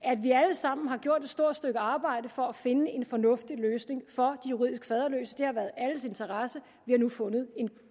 sammen har gjort et stort stykke arbejde for at finde en fornuftig løsning for de juridisk faderløse det har været i alles interesse vi har nu fundet